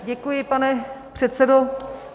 Děkuji, pane předsedo.